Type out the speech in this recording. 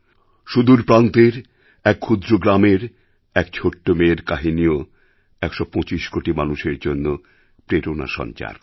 সুদূর প্রান্তের এক ক্ষুদ্র গ্রামের এক ছোট্ট মেয়ের কাহিনিও ১২৫ কোটি মানুষের জন্য প্রেরণা সঞ্চার করে